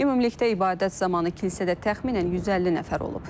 Ümumilikdə ibadət zamanı kilsədə təxminən 150 nəfər olub.